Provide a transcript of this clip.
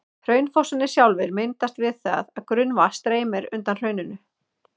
Hraunfossarnir sjálfir myndast við það að grunnvatn streymir undan hrauninu.